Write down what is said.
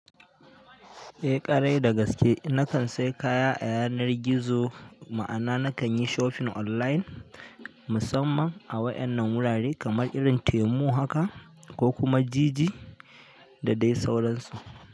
Eh ƙwarai da gaske, nakan sai kaya a yanar gizo ma'ana nakan yi shopping online musamman a wa'yan nan wurare kamar irin Temu haka ko kuma Jiji da dai sauransu.